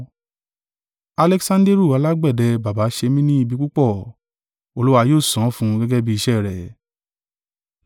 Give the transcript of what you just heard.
Aleksanderu alágbẹ̀dẹ bàbà ṣe mi ni ibi púpọ̀: Olúwa yóò san án fún un gẹ́gẹ́ bí iṣẹ́ rẹ̀.